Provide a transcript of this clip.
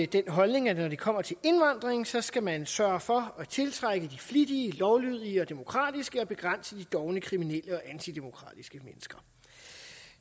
den holdning at når det kommer til indvandring så skal man sørge for at tiltrække de flittige lovlydige og demokratiske og begrænse de dovne kriminelle og antidemokratiske mennesker